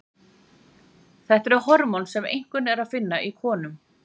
þetta eru hormón sem einkum er að finna í konum